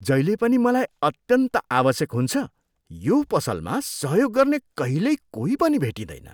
जहिले पनि मलाई अत्यन्त आवश्यक हुन्छ यो पसलमा सहयोग गर्ने कहिल्यै कोही पनि भेटिँदैन।